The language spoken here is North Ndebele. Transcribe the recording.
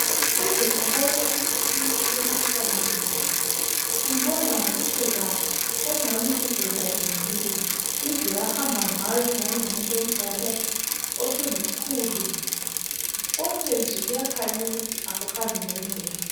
Uze ubone ukuthi umuntu ulomkhuhlane lo umbona ngobuso bakhe obunganibuzondazondile, indlela ahamba ngayo ngani ngumuntu omdala osengukhulu konke nje kuyakhanya ukuthi akuhambi ngendlela.